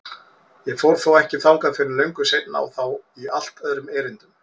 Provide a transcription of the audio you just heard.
Ég fór þó ekki þangað fyrr en löngu seinna og þá í allt öðrum erindum.